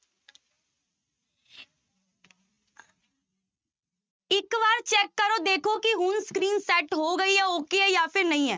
ਇੱਕ ਵਾਰ check ਕਰੋ ਦੇਖੋ ਕਿ ਹੁਣ screen set ਹੋ ਗਈ ਹੈ okay ਹੈ ਜਾਂ ਫਿਰ ਨਹੀਂ ਹੈ।